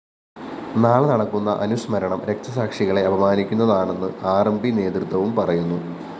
നാളെ നടക്കുന്ന അനുസ്മരണം രക്തസാക്ഷികളെ അപമാനിക്കുന്നതാണെന്ന് ആർ എം പി നേതൃത്വവും പറയുന്നു